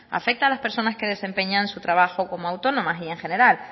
afecta a las personas que desempeñan su trabajo como autónomas y en general